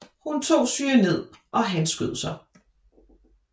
Hun tog cyanid og han skød sig